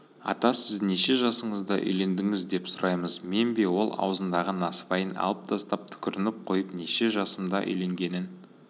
ата сіз неше жасыңызда үйлендіңіз деп сұраймыз мен бе ол аузындағы насыбайын алып тастап түкірініп қойып неше жасымда үйленгенін